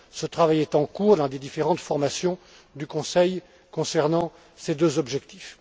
Ce travail est en cours dans différentes formations du Conseil concernant ces deux objectifs.